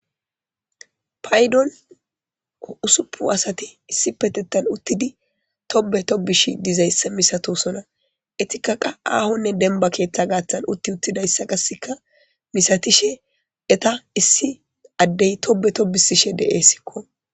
Paydon o usupu asati issi petettan uttidi tobe tobish dizayssa misatosona etikaqa aahonne denba keeththa gaaththan utti uttidayssa qaseka misatishe eta issi addey tobe tobisishe de'essikko.